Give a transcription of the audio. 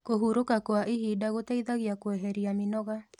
Kũhũrũka kwa ĩhĩda gũteĩthagĩa kweherĩa mĩnoga